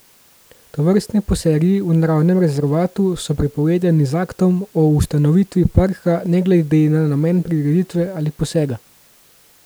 Tovrstni posegi v naravnem rezervatu so prepovedani z aktom o ustanovitvi parka ne glede na namen prireditve ali posega.